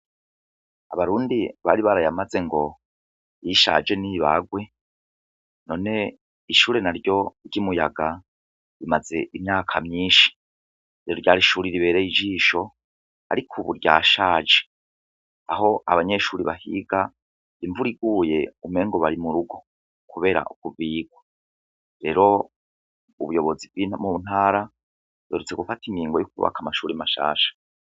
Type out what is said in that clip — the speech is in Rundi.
Abarundi bari barayamaze ngo yishaje n'ibagwe none ishure na ryo ry'imuyaga rimaze imyaka myinshi iro ryarishurira ibereye ijisho, ariko, ubu rya shaje aho abanyeshuri bahiga imvur iguye umengo bari mu rugo, kubera ukubikwa rero ubuyobozi wimu ntara doretse gufata ingingo y'ukubaka amashuri mashasha.